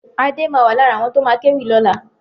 Adé ma wà lára àwọn tó ma kéwì lọ́la